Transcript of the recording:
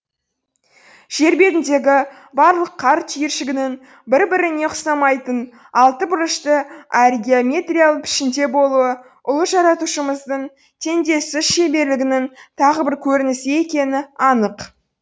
жер бетіндегі барлық қар түйіршігінің бір біріне ұқсамайтын алты бұрышты әрі геометриялы пішінде болуы ұлы жаратушымыздың теңдессіз шеберлігінің тағы бір көрінісі екені анық